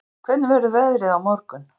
Gillý, hvernig verður veðrið á morgun?